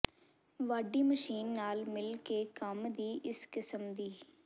ਵਾਢੀ ਮਸ਼ੀਨ ਨਾਲ ਮਿਲ ਕੇ ਕੰਮ ਦੀ ਇਸ ਕਿਸਮ ਦੀ